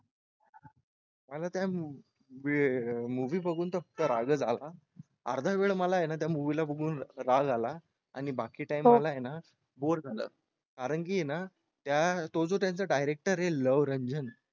मला त्या movie बघून तर राग आला अर्धा वेळ मला आहे ना त्या movie ला बघून राग आला आणि बाकी time मला आहे ना bore झाला कारण की आहे ना तो जो त्यांचा director आहे लव रंजन.